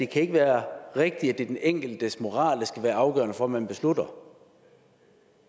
kan være rigtigt at det er den enkeltes moral der skal være afgørende for hvad man beslutter